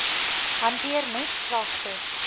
hanteer net klagtes